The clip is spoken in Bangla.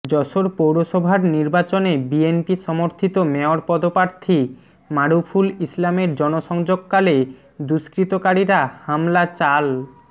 যশোর পৌরসভার নির্বাচনে বিএনপি সমর্থিত মেয়র পদপ্রার্থী মারুফুল ইসলামের জনসংযোগকালে দুষ্কৃতকারীরা হামলা চাল